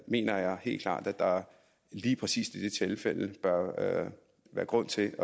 mener jeg helt klart at der lige præcis i de tilfælde bør være grund til